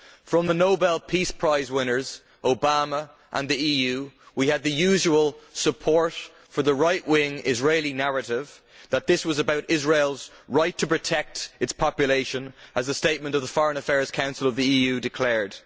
From the Nobel Peace Prize winners Obama and the EU we had the usual support for the right wing Israeli narrative that this was about Israel's right to protect its population, as a statement of the Foreign Affairs Council of the EU declared.